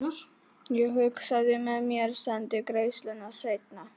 Ég hugsaði með mér: Sendi greiðsluna seinna.